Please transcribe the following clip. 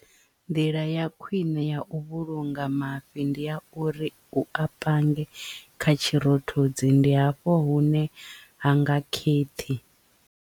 Nḓila ya khwiṋe ya u vhulunga mafhi ndi ya uri u a pange kha tshirothodzi ndi hafho hune ha nga kheṱhi.